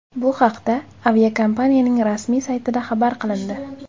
Bu haqda aviakompaniyaning rasmiy saytida xabar qilindi .